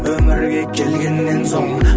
өмірге келгеннен соң